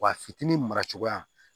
Wa a fitinin mara cogoya